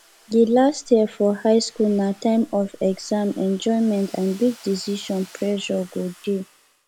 di last year for high school na time of exam enjoyment and big decisions pressure go dey